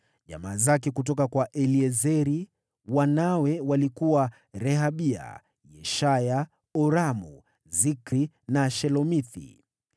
Jamaa zake kutoka kwa Eliezeri, wanawe walikuwa: Rehabia, Yeshaya, Yoramu, Zikri na Shelomithi.